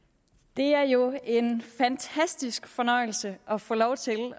det er jo en fantastisk fornøjelse at få lov til